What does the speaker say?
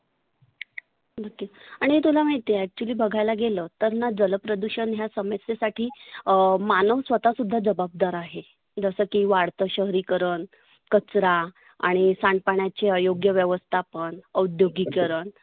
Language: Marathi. आणि तुला महिती आहे actually बघायला गेलं तर ना जल प्रदुषण ह्या समस्येसाठी मानव स्वतः स्वतः जबाबदार आहे. जसं की वाढतं शहरिकरण, कचरा, आणि सांडपाण्याची अयोग्य व्यवस्थापण, औद्योगिकरण